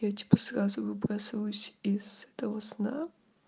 я типа сразу выбрасываюсь из этого сна